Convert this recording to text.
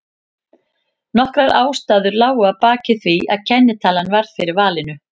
Nokkrar ástæður lágu að baki því að kennitalan varð fyrir valinu.